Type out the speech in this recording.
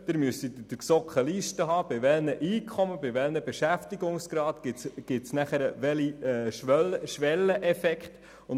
Sie müssten in der GSoK eine Liste haben, welche aufzeigt, bei welchen Einkommen und Beschäftigungsgraden es danach zu welchen Schwelleneffekten kommt.